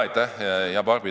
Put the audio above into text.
Aitäh, hea Barbi!